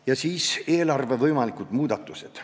Ja veel eelarve võimalikest muudatustest.